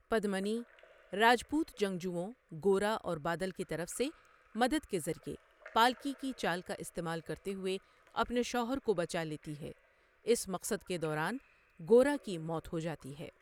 پدمنی، راجپوت جنگجوؤں گورا اور بادل کی طرف سے مدد کے ذریعے، پالکی کی چال کا استعمال کرتے ہوئے اپنے شوہر کو بچا لیتی ہے، اس مقصد کے دوران گورا کی موت ہو جاتی ہے۔